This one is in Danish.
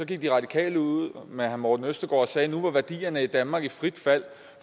gik de radikale med herre morten østergaard sagde at nu var værdierne i danmark i frit fald